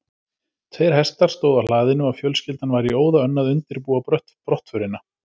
Tveir hestar stóðu á hlaðinu og fjölskyldan var í óða önn að undirbúa brottförina.